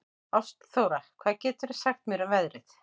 Ástþóra, hvað geturðu sagt mér um veðrið?